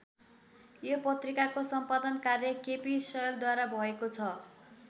यो पत्रिकाको सम्पादन कार्य केपी शैलद्वारा भएको छ।